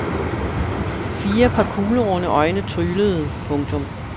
Fire par kuglerunde øjne tryglede. punktum